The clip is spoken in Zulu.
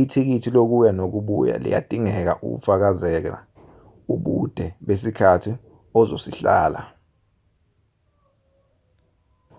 ithikithi lokuya nokubuya liyadingeka ukufakazela ubude besikhathi ozosihlala